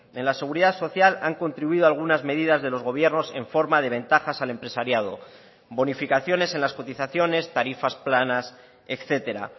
en la seguridad social han contribuido algunas medidas de los gobiernos en forma de ventajas al empresariado bonificaciones en las cotizaciones tarifas planas etcétera